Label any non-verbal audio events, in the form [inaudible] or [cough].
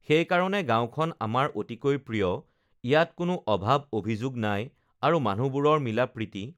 [noise] সেইকাৰণে গাঁওখন আমাৰ অতিকৈ প্ৰিয় ইয়াত কোনো অভাৱ-অভিযোগ নাই আৰু মানুহবোৰৰ মিলা-প্ৰীতি